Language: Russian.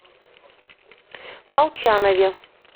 молчанове